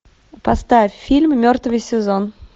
поставь фильм мертвый сезон